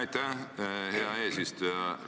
Aitäh, hea eesistuja!